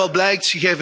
En wat blijkt?